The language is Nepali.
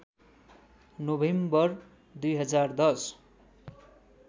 नोभेम्बर २०१०